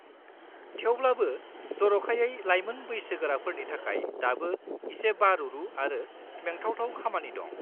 थेवब्लाबो, जर'खायै लायमोन बैसोगोराफोरनि थाखाय दाबो एसे बारुरु आरो मेंथावथाव खामानि दं।